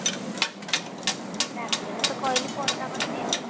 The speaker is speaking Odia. ରାତିରେ ତତେ କହିଲି ପରଟା କରିବି ଆଉ